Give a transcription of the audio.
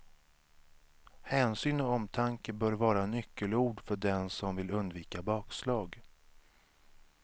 Hänsyn och omtanke bör vara nyckelord för den som vill undvika bakslag.